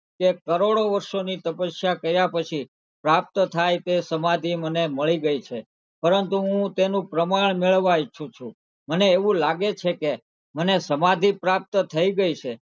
કે કરોડો વર્ષોની તપસ્યા કર્યા પછી પ્રાપ્ત થાય તે સમાધી મને મળી ગયી છે પરંતુ હું તેનું પ્રમાણ મેળવવા ઇચ્છુ છું મને એવું લાગે છે કે મને સમાધી પ્રાપ્ત થઇ ગઈ છે.